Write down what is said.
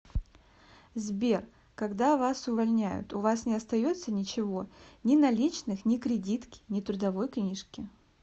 сбер когда вас увольняют у вас не остается ничего ни наличных ни кредитки ни трудовой книжки